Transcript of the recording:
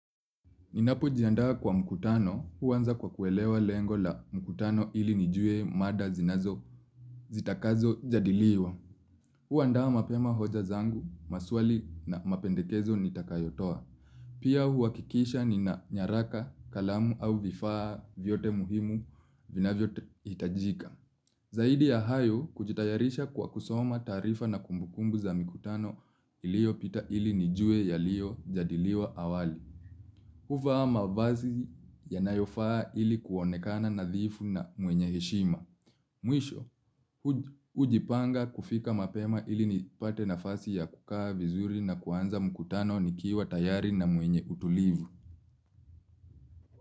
Ninapojiandaa kwa mkutano huanza kwa kuelewa lengo la mkutano ili nijue mada zitakazojadiliwa. Huandaa mapema hoja zangu, maswali na mapendekezo nitakayotoa. Pia huhakikisha nina nyaraka, kalamu au vifaa vyote muhimu vinavyohitajika. Zaidi ya hayo kujitayarisha kwa kusoma taarifa na kumbukumbu za mikutano iliyopita ili nijue yaliyojadiliwa awali. Huvaa mavazi yanayofaa ili kuonekana nadhifu na mwenye heshima. Mwisho, hujipanga kufika mapema ili nipate nafasi ya kukaa vizuri na kuanza mkutano nikiwa tayari na mwenye utulivu.